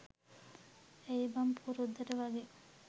ඇයි බන් පුරුද්දට වගේ